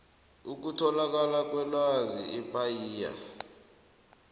ukutholakala kwelwazi ipaia